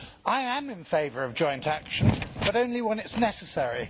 I am in favour of joint action, but only when it is necessary.